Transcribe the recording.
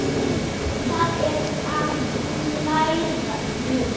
Það er að læra nudd.